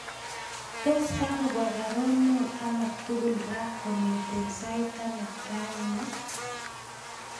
Tos kagopwa baruonok alak tugul raa kongeten saait taman raini